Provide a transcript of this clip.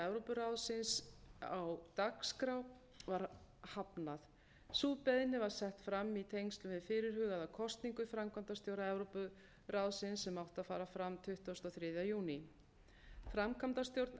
evrópuráðsins á dagskrá var hafnað sú beiðni var sett fram í tengslum við fyrirhugaða kosningu framkvæmdastjóra evrópuráðsins sem átti að fara fram tuttugasta og þriðja júní framkvæmdastjórn